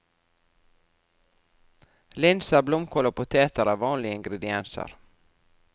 Linser, blomkål og poteter er vanlige ingredienser.